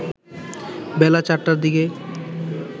বেলা ৪টার দিকে